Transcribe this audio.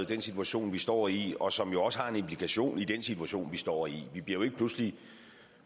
den situation vi står i og som jo også har implikationer i den situation vi står i vi bliver jo ikke pludselig